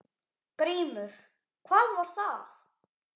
GRÍMUR: Hvað var það?